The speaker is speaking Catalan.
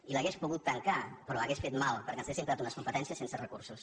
i l’hauria pogut tancar però hauria fet mal perquè ens hauríem quedat unes competències sense recursos